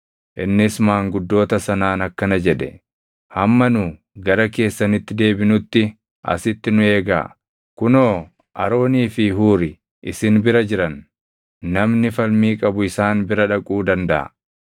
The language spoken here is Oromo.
Innis maanguddoota sanaan akkana jedhe; “Hamma nu gara keessanitti deebinutti asitti nu eegaa. Kunoo Aroonii fi Huuri isin bira jiran; namni falmii qabu isaan bira dhaquu dandaʼa.”